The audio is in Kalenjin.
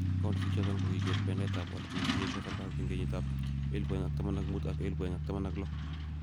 Counties ichoton kokiger bendaet tab oret nekikiyesho serkalit 2015 ak 2016.